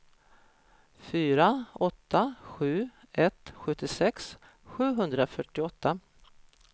fyra åtta sju ett sjuttiosex sjuhundrafyrtioåtta